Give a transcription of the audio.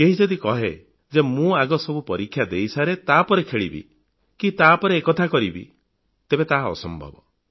କେହି ଯଦି କହେ ଯେ ମୁଁ ଆଗ ସବୁ ପରୀକ୍ଷା ଦେଇସାରେ ତାପରେ ଖେଳିବି କି ପରେ ଏ କଥା କରିବି ତେବେ ତାହା ଅସମ୍ଭବ